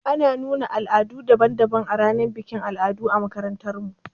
Ana nuna al'adu daban daban a ranar bikin al'adu a makarantar mu